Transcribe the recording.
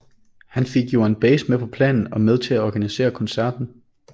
Han fik Joan Baez med på planen og med til at organisere koncerten